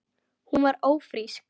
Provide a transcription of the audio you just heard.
Hún var ófrísk.